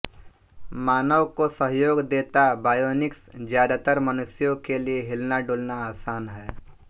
मानव को सहयोग देता बायोनिक्स ज्यादातर मनुष्यों के लिए हिलनाडुलना आसान है